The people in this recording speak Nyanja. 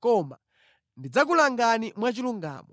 Koma ndidzakulangani mwachilungamo.’ ”